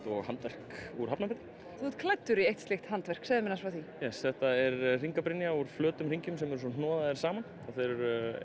og handverk úr Hafnarfirði þú ert klæddur í slíkt handverk segðu mér frá því já þetta er hringabrynja úr flötum hringjum sem eru svo hnoðaðir saman þeir